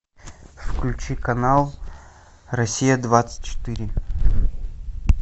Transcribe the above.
включи канал россия двадцать четыре